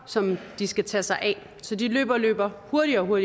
som de skal tage sig af så de løber løber hurtigere og